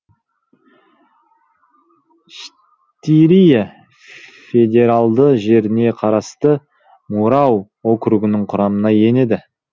штирия федералды жеріне қарасты мурау округінің құрамына енеді